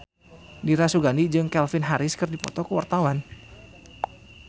Dira Sugandi jeung Calvin Harris keur dipoto ku wartawan